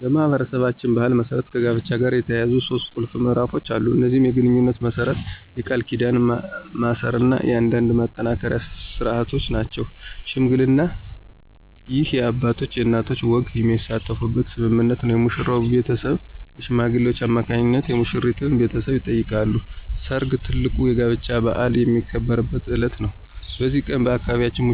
በማኅበረሰባችን ባሕል መሠረት ከጋብቻ ጋር የተያያዙ ሦስት ቁልፍ ምዕራፎች አሉ። እነዚህም የግንኙነት መመስረት፣ የቃል ኪዳን ማሰርና የአንድነት ማጠናከሪያ ሥርዓቶች ናቸው። ሽምግልና: ይህ የአባቶችና የእናቶች ወገኖች የሚሳተፉበት ስምምነት ነው። የሙሽራው ቤተሰብ በሽማግሌዎች አማካኝነት የሙሽሪትን ቤተሰብ ይጠይቃሉ። ሰርግ: ትልቁ የጋብቻ በዓል የሚከበርበት ዕለት ነው። በዚህ ቀን፣ በአካባቢያችን